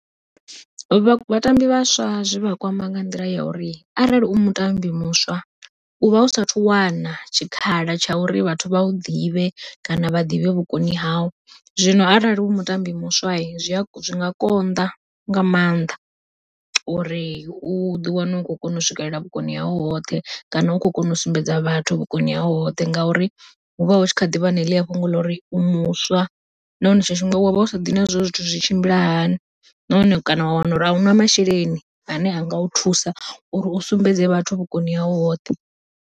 Vha vhatambi vhaswa zwivha kwama nga nḓila ya uri arali u mutambi muswa, u vha usathu wana tshikhala tsha uri vhathu vha u ḓivhe kana vha ḓivhe vhukoni hau. Zwino arali u mutambi muswa zwi a zwi nga konḓa nga maanḓa, uri u ḓi wane u khou kona u swikelela vhukoni hau hoṱhe kana u khou kona u sumbedza vhathu vhukoni hau hoṱhe. Ngauri hu vha hu tshi kha ḓivha na heḽia fhungo ḽa uri u muswa nahone tshiṅwe tshifhinga wa vha u sa ḓivhi uri zwithu zwi tshimbila hani, nahone kana wa wana uri a una masheleni ane a nga u thusa uri u sumbedze vhathu vhukoni hau hoṱhe.